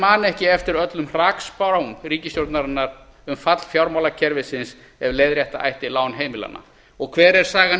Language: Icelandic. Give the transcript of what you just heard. man ekki eftir öllum hrakspám ríkisstjórnarinnar um fall fjármálakerfisins ef leiðrétta ætti lán heimilanna og hver er sagan í